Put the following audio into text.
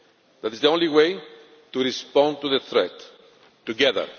That is the only way to respond to the threat together.